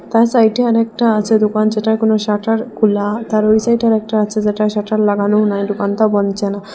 তার সাইটে অরেকটা আছে দুকান যেটার কোন শাটার খুলা তার ওই সাইটে আরেকটা আছে যেটার শাটার লাগানো নাই দুকানটা বনচে না।